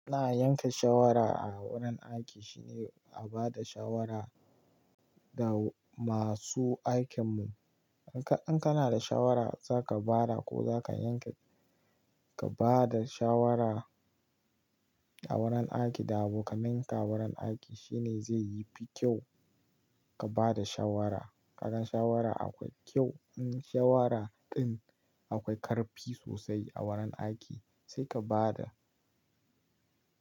Ina yanke shawara a wurin aiki shine a ba da shawara da masu aikin mu. In kana da shawara za ka ba da ko za ka yanke, ka ba da shawara a wurin aiki da aboka ninka wurin aiki shine zai yi fi kyau ka ba da shawara. Idan shawara akwai kyau, in shawara ɗin akwai karfi sosai a wurin aiki sai ka ba da.